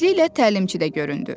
Tezliklə təlimçi də göründü.